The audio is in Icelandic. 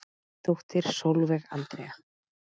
Þín dóttir Sólveig Andrea.